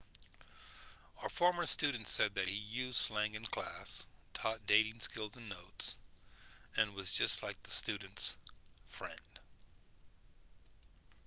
a former student said that he 'used slang in class taught dating skills in notes and was just like the students' friend.'